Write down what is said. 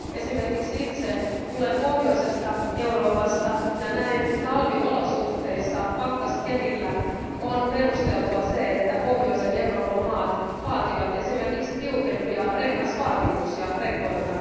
Esimerkiksi itse tulen Pohjois Euroopasta ja näin talviolosuhteissa pakkaskelillä on perusteltua, että Pohjois Euroopan maat vaativat esimerkiksi tiukempia rengasvaatimuksia rekoilta.